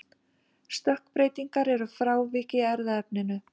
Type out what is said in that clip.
stökkbreytingar eru frávik í erfðaefninu